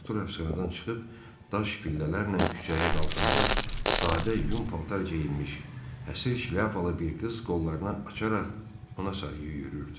Artur həbsxanadan çıxıb, daş pillələrlə küçəyə qalxanda, sadə yun paltar geyinmiş, həsri şlyapalı bir qız qollarına açaraq ona sarı yüyürdü.